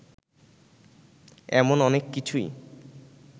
এমন অনেক কিছুই